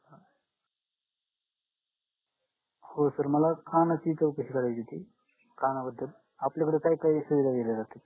हो sir मला कानाची करायची होती कानाबद्दल आपल्याकडे काय काय सुविधा आहेत याच्या बाबतीत